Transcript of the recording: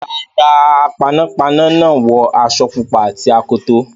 Rárá, panápaná náà wọ aṣọ pupa àti akoto.